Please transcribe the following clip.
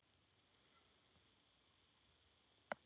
Ég fór á fjóra leiki.